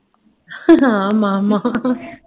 ஆமா ஆமா